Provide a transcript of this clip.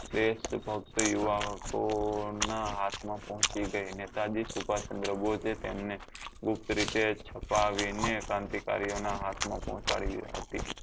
દેશભક્ત યુવકો ના હાથ માં પહોચી ગઈ નેતા જી શુભાષચંદ્ર બોજે તેમને ગુપ્ત રીતે છુપાવી ને ક્રાંતિકારીઓ ના હાથ માં પોહચાડી હતી